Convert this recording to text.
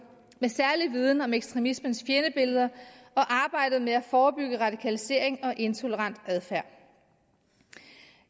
med særlig viden om ekstremismens fjendebilleder og arbejdet med at forebygge radikalisering og intolerant adfærd